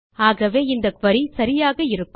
ஆகவே இந்த குரி சரியாக இருக்கும்